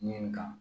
Nin kan